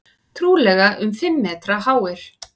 Trúlega um fimm metra háir.